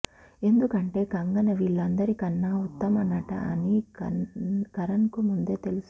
ఎందుకంటే కంగన వీళ్లందరి కన్నా ఉత్తమ నట అని కరణ్కు ముందే తెలుసు